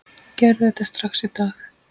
Gerðu þetta strax í dag!